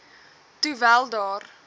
toe wel daar